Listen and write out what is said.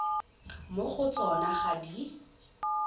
mo go tsona ga di